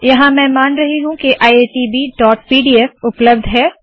यहाँ मैं मान रही हूँ के iitbपीडीएफ उपलब्ध है